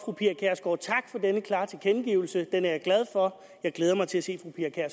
denne klare tilkendegivelse den er jeg glad for jeg glæder mig til at se